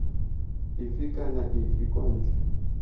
efe kana efe kwa ntle